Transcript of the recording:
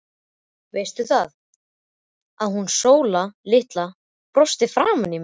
Veistu það, að hún Sóla litla brosti framan í mig.